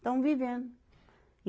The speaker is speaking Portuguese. Estamos vivendo e.